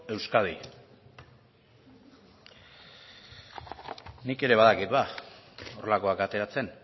euskadi nik ere badakit horrelakoak ateratzen